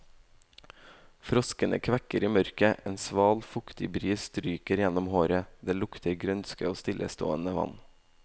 Froskene kvekker i mørket, en sval, fuktig bris stryker gjennom håret, det lukter grønske og stillestående vann.